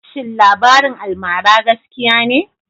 shin labarin almara gaskiya ne?